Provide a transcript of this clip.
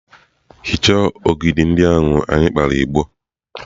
hichaa ogidi ndị ahụ anyị kpara igbo!.